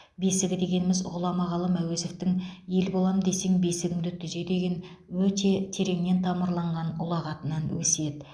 бесігі дегеніміз ғұлама ғалым әуезовтың ел болам десең бесігіңді түзе деген өте тереңнен тамырланған ұлағатынан өсиет